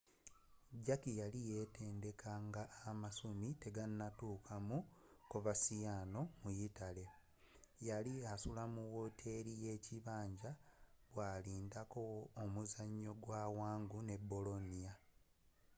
jarque yali yeetendeka nga amasumi tegannatuuka mu coverciano mu yitale yali asula mu woteri y'ekibinja bwalindirako omuzanyo gwa wangu ne bolonia